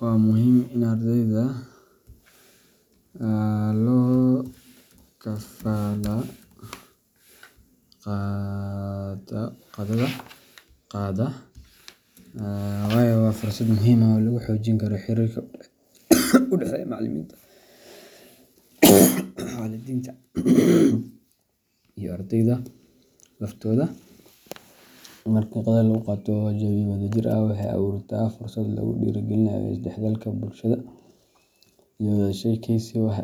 Waa muhiim in ardayda lokafala qaato qada, waayo waa fursad muhiim ah oo lagu xoojin karo xiriirka u dhexeeya macallimiinta, waalidiinta, iyo ardayda laftooda. Marka qadada lagu qaato jawi wadajir ah, waxay abuurtaa fursad lagu dhiirrigeliyo isdhexgalka bulsho iyo wada sheekaysi wax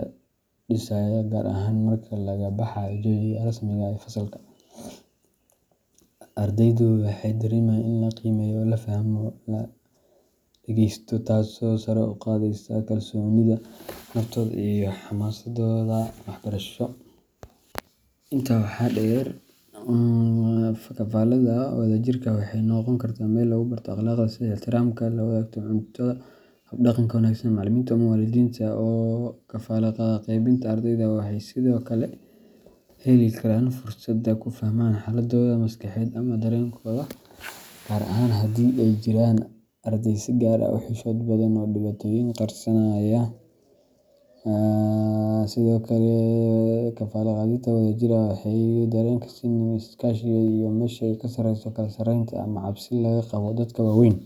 dhisaya, gaar ahaan marka laga baxo jawiga rasmiga ah ee fasalka. Ardaydu waxay dareemayaan in la qiimeeyo, la fahmo, lana dhegeysto, taasoo sare u qaadaysa kalsoonidooda naftooda iyo xamaasaddooda waxbarasho. Intaa waxaa dheer, qadada wadajirka ah waxay noqon kartaa meel lagu barto akhlaaqda, sida ixtiraamka, la wadaagga cunto, iyo habdhaqanka wanaagsan. Macallimiinta ama waalidiinta oo qadada kala qaybqaata ardayda waxay sidoo kale heli karaan fursad ay ku fahmaan xaaladdooda maskaxeed ama dareenkooda, gaar ahaan haddii ay jiraan arday si gaar ah u xishood badan ama dhibaatooyin qarsanaya. Sidoo kale, qadada oo wadajir ah waxay kor u qaadaysaa dareenka sinnaanta iyo iskaashiga, iyadoo meesha ka saaraysa kala sarreynta ama cabsi laga qabo dadka waaweyn.